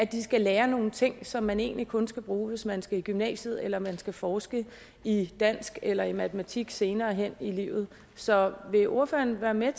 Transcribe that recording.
de skal lære nogle ting som man egentlig kun skal bruge hvis man skal i gymnasiet eller man skal forske i dansk eller i matematik senere hen i livet så vil ordføreren være med